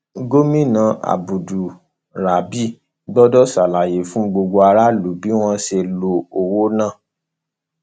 gomina abdulrazib gbọdọ ṣàlàyé fún gbogbo aráàlú bí wọn ṣe lo owó náà